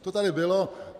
To tady bylo.